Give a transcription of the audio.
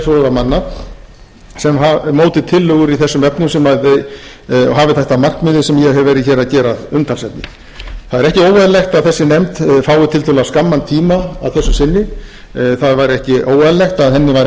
móti tillögur í þessum efnum sem hafi þetta að markmiði sem ég hef verið hér að gera að umtalsefni það er ekki óeðlilegt að þessi nefnd fái tiltölulega skamman tíma að þessu sinni það væri ekki óeðlilegt að henni væri